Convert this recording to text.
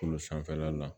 Kolo sanfɛla la